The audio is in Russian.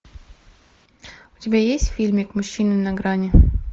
у тебя есть фильмик мужчина на грани